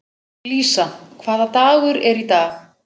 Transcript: Lísa, hvaða dagur er í dag?